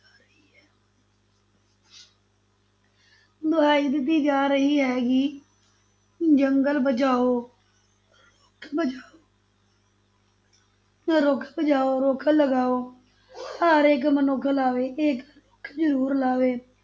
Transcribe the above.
ਦੁਹਾਈ ਦਿੱਤੀ ਜਾ ਰਹੀ ਹੈ ਕਿ ਜੰਗਲ ਬਚਾਓ ਰੱਖ ਬਚਾਓ ਰੁੱਖ ਬਚਾਓ ਰੁੱਖ ਲਗਾਓ ਹਰ ਇਕ ਮਨੁੱਖ ਲਾਵੇ ਇੱਕ ਰੁੱਖ ਜ਼ਰੂਰ ਲਾਵੇ